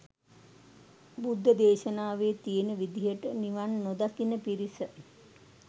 බුද්ධ දේශනාවෙ තියෙන විදිහට නිවන් නොදකින පිරිස